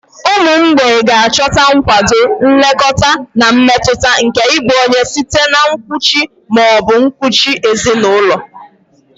Ụmụ mgbei ga-achọta nkwado, nlekọta, na mmetụta nke ịbụ onye site na nkuchi ma ọ bụ nkuchi ezinụlọ.